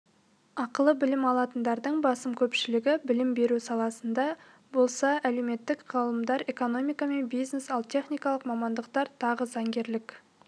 ақылы білім алатындардың басым көпшілігі білім беру саласында болса әлеуметтік ғылымдар экономика мен бизнес ал техникалық мамандықтар тағы заңгерлік